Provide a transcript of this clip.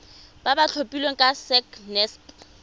ba ba tlhophilweng ke sacnasp